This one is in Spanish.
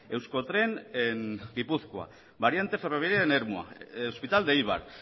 euskotren en gipuzkoa variante ferroviaria en ermua hospital de eibar